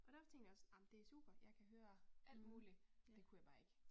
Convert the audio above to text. Og der tænkte jeg også ej men det super jeg kan høre alt muligt. Det kunne jeg bare ikke